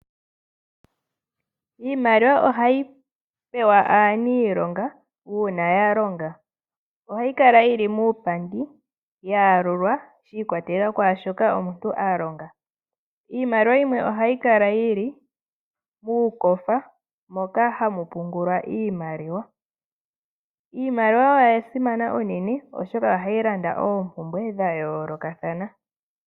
Iimaliwa ohayi pewa aaniilonga uunaya longa. Ohayi kala yili muupandi ya yalulwa shi ikwatelela kwaashoka omuntu a longa. Iimaliwa yimwe ohayi kala yili muukofa moka hamu pungulwa iimaliwa. Iimaliwa oya simana unene oshoka ohayi landa oompumbwe dha yoolokathana.